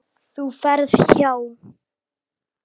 Þú ferð hjá